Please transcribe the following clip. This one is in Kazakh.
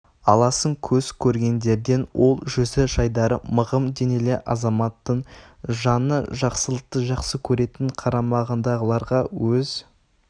аласың көз көргендерден ол жүзі жайдары мығым денелі азаматтын жаны жаңалықты жақсы көретін қарамағындағыларға өз